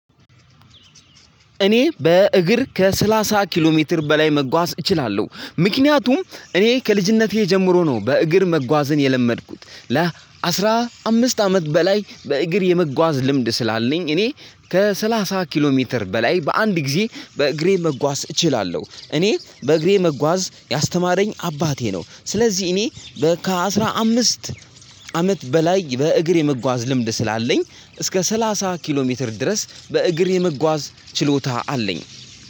እኔ በእግር ከሰላሳ ኪሎ ሜትር በላይ መጓዝ እችላለሁ። ምክንያቱም እኔ ከልጅነቴ ጀምሮ ነው በእግር መጓዝን የለመድኩት ለአስራ አምስት አመት በላይ በእግር የመጓዝ ልምድ ስላለኝ እኔ ከሰላሳ ኪሎ ሜትር በላይ በአንድ ጊዜ በእግሬ መጓዝ እችላለሁ እኔ በእግሬ መጓዝ ያስተማረኝ አባቴ ነው። ስለዚህ እኔ በ ከአስራ አምስት አመት በላይ በእግር የመጓዝ ልምድ ስላለኝ እስከ ሰላሳ ኪሎ ሜትር ድረስ በእግሬ የመጓዝ ችሎታ አለኝ።